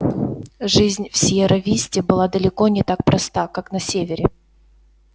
жизнь в сиерра-висте была далеко не так проста как на севере